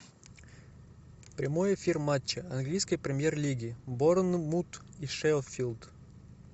прямой эфир матча английской премьер лиги борнмут и шеффилд